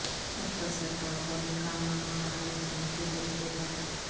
مختصر طور پر نکاح نامہ بحال کرنے کے طریقے پر